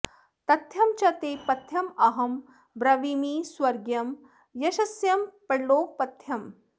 तथ्यं च ते पथ्यमहं ब्रवीमि स्वर्ग्यं यशस्यं परलोकपथ्यम्